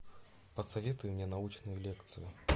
посоветуй мне научную лекцию